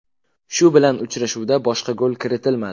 Shu bilan uchrashuvda boshqa gol kiritilmadi.